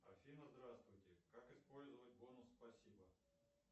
афина здравствуйте как использовать бонус спасибо